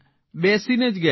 બેસીને જ ગયા